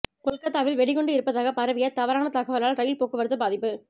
கொல்கத்தாவில் வெடிகுண்டு இருப்பதாக பரவிய தவறான தகவலால் ரயில் போக்குவரத்து பாதிப்பு